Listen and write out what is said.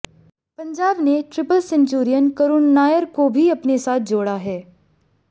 पंजाब ने triple centurion Karun Nair को भी अपने साथ जोड़ा है